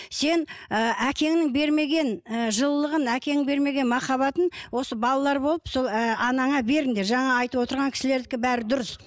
сен ыыы әкеңнің бермеген ы жылылығын әкең бермеген махаббатын осы балалар болып сол ііі анаңа беріңдер жаңа айтып отырған кісілердікі бәрі дұрыс